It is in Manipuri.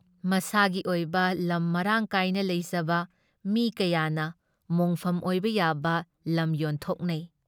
ꯃꯁꯥꯥꯒꯤ ꯑꯣꯏꯕ ꯂꯝ ꯃꯔꯥꯡꯀꯥꯏꯅ ꯂꯩꯖꯕ ꯃꯤ ꯀꯌꯥꯅ ꯃꯣꯡꯐꯝ ꯑꯣꯏꯕ ꯌꯥꯕ ꯂꯝ ꯌꯣꯟꯊꯣꯛꯅꯩ ꯫